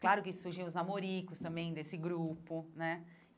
Claro que surgiam os namoricos também desse grupo, né?